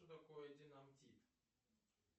что такое динамтит